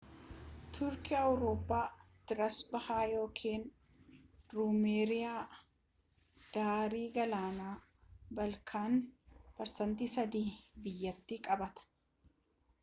turkii awurooppaa trees bahaa ykn ruumeeliyaa daarii galaana baalkaan 3% biyyattii qabaata